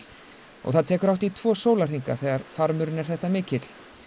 og það tekur hátt í tvo sólarhringa þegar farmurinn er þetta mikill